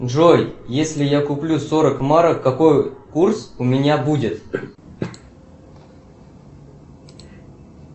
джой если я куплю сорок марок какой курс у меня будет